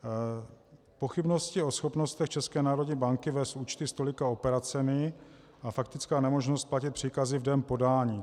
Pochybnosti o schopnostech České národní banky vést účty s tolika operacemi a faktická nemožnost platit příkazy v den podání.